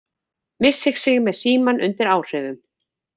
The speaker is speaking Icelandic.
Missir sig með símann undir áhrifum